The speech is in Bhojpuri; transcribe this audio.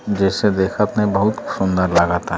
जेसे देखत में बहुत सुन्दर लागता।